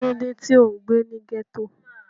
Kí ló dé tí ò ń gbé ní ghetto?